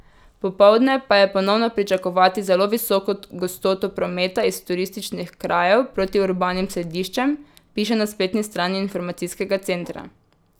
Popoldne pa je ponovno pričakovati zelo visoko gostoto prometa iz turističnih krajev proti urbanim središčem, piše na spletni strani informacijskega centra.